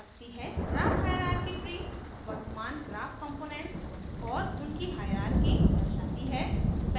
graph hierarchy tree वर्तमान graph components और उनकी हाइरार्की दर्शाती है